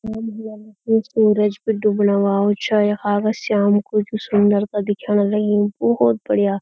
चाँद भी आ गया यु सूरज बि डुबणा वालू छा यखा का श्याम कु जू सुन्दरता दिखेण लगीं बुहोत बढ़िया।